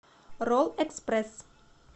ролл экспресс